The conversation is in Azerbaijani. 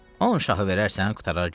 On şahı verərsən, qurtarar gedər.